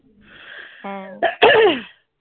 হ্যাঁ